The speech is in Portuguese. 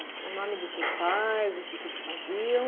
o nome dos seus pais, o que que eles faziam?